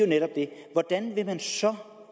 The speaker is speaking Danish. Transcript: netop det hvordan vil man så